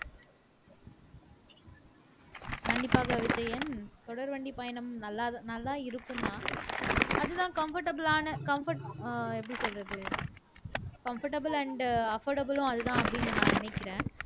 கண்டிப்பாக விஜயன் தொடர்வண்டி பயணம் நல்லா நல்லா இருக்கும்ன்னா அதுதான் comfortable ஆன comfort ஆ எப்படி சொல்றது comfortable and affordable உம் அதுதான் அப்படின்னு நான் நினைக்கிறேன்